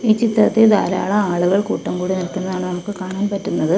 ഈ ചിത്രത്തിൽ ധാരാളം ആളുകൾ കൂട്ടം കൂടി നിൽക്കുന്നതാണ് നമുക്ക് കാണാൻ പറ്റുന്നത്.